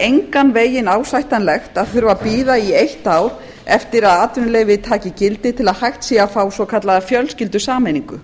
engan veginn ásættanlegt að þurfa að bíða í eitt ár eftir að atvinnuleyfi taki gildi til að hægt sé að fá svokallaða fjölskyldusameiningu